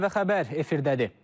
ATV Xəbər efirdədir.